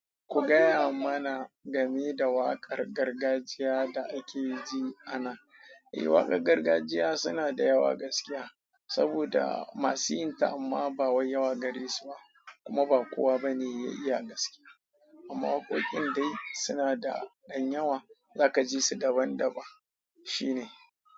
Ku gaya mana game da waƙar gargajiya da ake ji anan. Eh, waƙar gargajiya suna da yawa gaskiya saboda masu yin ta amma ba wayi yawa gare su ba kuma ba kowa bane ya iya gaske. Amma waƙoƙin dai suna da ɗan yawa za ka ji su daban daban. Shi ne.